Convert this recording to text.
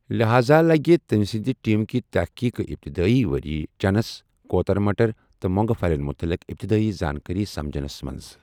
لحاذا لٕگہِ تمہِ سندِ ٹیمكہِ تحقیقٕكہِ اپتدۭٲی وریہہ چَنس ، كوتر مٹر تہٕ مو٘نگہٕ پھلین مٗتعلق اپتدٲیی زانكٲری سمجنس منز ۔